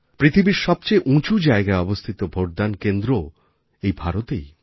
পৃথিবীর সবচেয়ে উঁচু জায়গায় অবস্থিত ভোটদান কেন্দ্রও এই ভারতেই